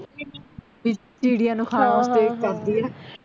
ਚਿੜੀਆਂ ਨੂੰ ਖਾਣ ਵਾਸਤੇ ਕਰਦੀਆਂ